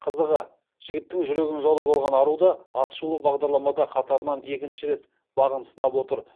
қызығы жігіттің жүрегін жаулап алған ару да атышулы бағдарламада қатарынан екінші рет бағын сынап отыр